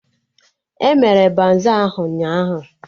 Emere baza ahụ ụnyaahụ?